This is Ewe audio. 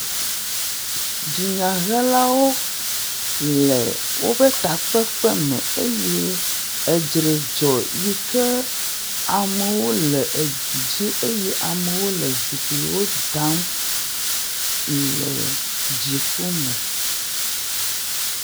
Dunyahelawo le woƒe takpekpe me eye dzre dzɔ eye amewo le du dzi eye amewo le zikpuiwo dam le dziku me.